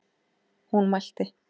Hún mælti: